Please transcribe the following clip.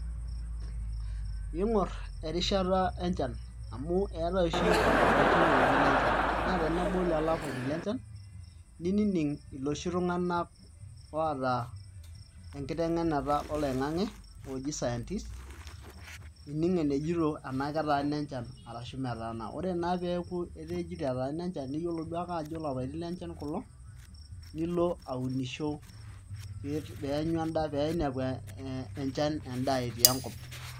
Iing'orr erishata enchan amu eetai oshi ilapaitin lenchan naa tenebau lelo apaitin lenchan nining' iloshi tung'anak oota enkiteng'enare oloing'ang'e ooji scientists pee ining' enejito enaa ketaana enchan enaa metaana ore naa pee eeku etejito etaana enchan niyiolou naaduo ake ajo ilapaitin lenchan kulo nilo aunisho pee inepu enchan endaa etii enkop.